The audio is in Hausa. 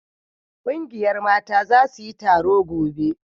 ƙungiyar Mata za su yi taro gobe